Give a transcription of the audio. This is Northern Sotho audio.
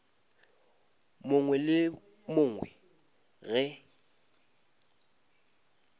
mongwe le yo mongwe ge